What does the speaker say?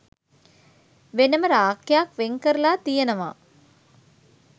වෙනම රාක්කයක් වෙන් කරලා තියෙනවා.